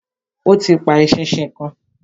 Ó ti pa eṣinṣin kan.